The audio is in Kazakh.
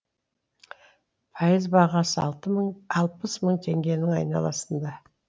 пайыз бағасы алпыс мың теңгенің айналасында